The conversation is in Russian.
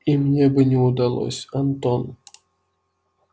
и мне бы не удалось антон